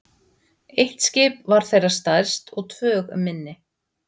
Eitt skipið var þeirra stærst og tvö minni.